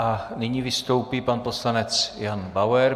A nyní vystoupí pan poslanec Jan Bauer.